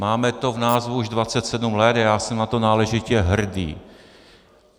Máme to v názvu už 27 let a já jsem na to náležitě hrdý.